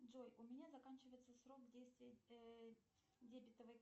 джой у меня заканчивается срок действия дебетовой